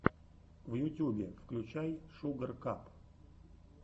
в ютюбе включай шугар кап